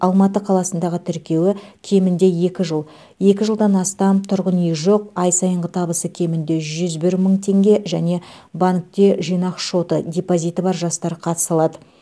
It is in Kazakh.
алматы қаласындағы тіркеуі кемінде екі жыл екі жылдан астам тұрғын үйі жоқ ай сайынғы табысы кемінде жүз бір мың теңге және банкте жинақ шоты депозиті бар жастар қатыса алады